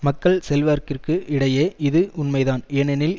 மக்கள் செல்வாக்கிற்கு இடையே இது உண்மைதான் ஏனெனில்